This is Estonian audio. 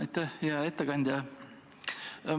Aitäh, hea ettekandja!